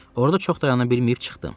Orada çox dayana bilməyib çıxdım.